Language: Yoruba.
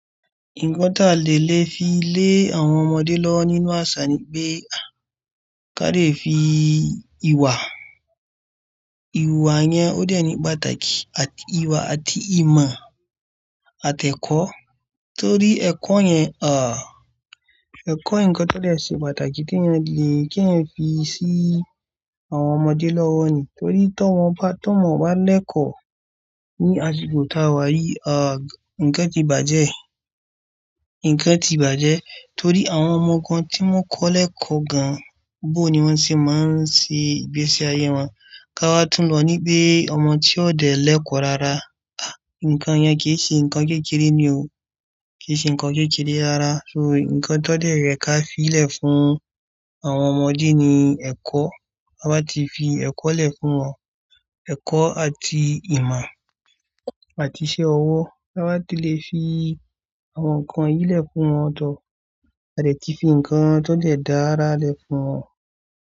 Nǹkan tó le lè fi lé àwọn ọmọdé lọ́wọ́ nínú àṣà ni pé a ká lè fi ìwà. Ìwà yẹn ó dẹ̀ ní pàtàkì àti ìwà àti ìmọ̀ àtẹ́kọ̀. Torí ẹ̀kọ́ yẹn, ah, ẹ̀kọ́ nǹkan tó lè ṣe pàtàkì tí ẹ lè kí ẹ fi sí àwọn ọmọdé lọ́wọ́ ni. Torí tí wọ́n bá, tí wọ́n bá lẹ́kọ̀ ní aṣìkò tá a wáyé, ah, ǹkan ti bàjẹ́. Nǹkan ti bàjẹ́ torí àwọn ọmọ kan tí wọ́n kọ́ lẹ́kọ̀ gan, bó ni wọ́n ṣe máa ń ṣe ìgbésẹ ayé wọn. Ka wá tún lọ ní pé ọmọ tí ó dẹ̀ lẹ́kọ̀ rárá, ah, ǹkan yẹn kì í ṣe ǹkan kékeré ni o. Kì í ṣe ǹkan kékeré rárá. So nǹkan tó lè rẹ̀ ká fi lẹ̀ fún àwọn ọmọdé ni ẹ̀kọ́. Ba tí fi ẹ̀kọ́ lẹ̀ fún wọn, ẹ̀kọ́ àti ìmọ̀ àti iṣẹ́ ọwọ́. Ba tí lè fi àwọn nǹkan yìí lẹ̀ fún wọn, a dẹ̀ ti fi ǹkan tó lè dára lẹ̀ fún wọn.